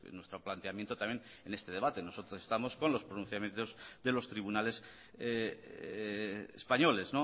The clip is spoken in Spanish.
nuestro planteamiento también en este debate nosotros estamos con los pronunciamientos de los tribunales españoles